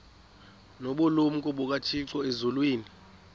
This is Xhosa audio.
nobulumko bukathixo elizwini